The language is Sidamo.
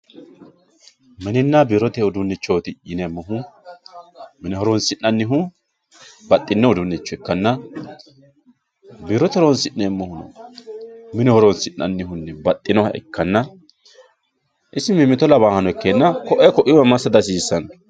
mininna biirote uduunnichooti yineemohu mine horonsi'nanihu baxinno uduunicho ikkanna biirote haronsi'neemohu mine horonsi'neemohunni baxinoha ikkanna isi mimito lawaahano ikeenna ko"ee ko"iiwa massa dihasiisanno.